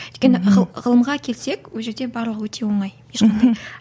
өйткені ғылымға келсек ол жерде барлығы өте оңай ешқандай